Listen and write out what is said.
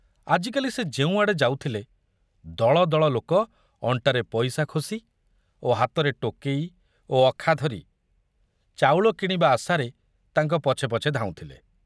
ଆଜିକାଲି ସେ ଯେଉଁଆଡ଼େ ଯାଉଥିଲେ, ଦଳ ଦଳ ଲୋକ ଅଣ୍ଟାରେ ପଇସା ଖୋସି ଓ ହାତରେ ଟୋକେଇ ଓ ଅଖା ଧରି ଚାଉଳ କିଣିବା ଆଶାରେ ତାଙ୍କ ପଛେ ପଛେ ଧାଉଁଥିଲେ।